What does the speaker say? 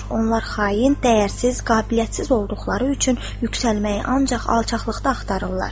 Onlar xain, dəyərsiz, qabiliyyətsiz olduqları üçün yüksəlməyi ancaq alçaqlıqda axtarırlar.